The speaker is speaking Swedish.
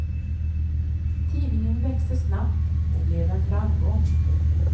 Tidningen växte snabbt och blev en framgång.